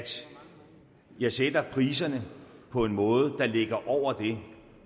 jeg sætter priserne på en måde der ligger over det